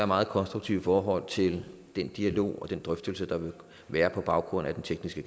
meget konstruktiv i forhold til den dialog og den drøftelse der vil være på baggrund af den tekniske